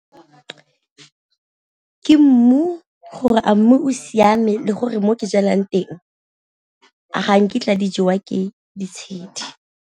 Ke mmu gore a mmu o siame le gore mo ke jalang teng a ga nkitla di jewa ke ditshedi.